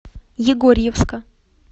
егорьевска